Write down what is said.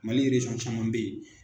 Mali caman bɛ ye.